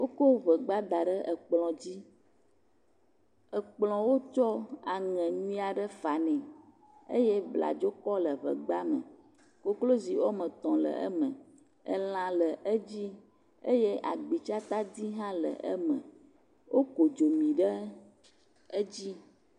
Wokɔ ŋegba da ɖe ekplɔ̃ dzi. ekplɔ̃a wotsɔ aŋɛ nyuie aɖe fa nɛ. Eye bladzokɔ le ŋegba me. koklozi wome tɔ̃ le eme. Elã le dzi. Eye agbitsatadi hã le eme. Woku dzomi ɖe edzi